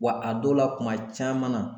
Wa a dɔw la kuma caman na